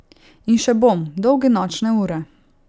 In še bom, dolge nočne ure.